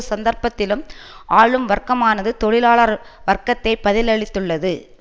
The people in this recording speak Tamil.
சந்தர்ப்பத்திலும் ஆளும் வர்க்கமானது தொழிலாளர் வர்க்கத்தை பதிலளித்துள்ளது